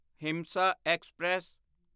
ਹਿੰਸਾ ਐਕਸਪ੍ਰੈਸ